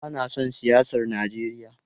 Bana son siyasar Najeriya.